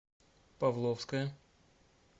павловская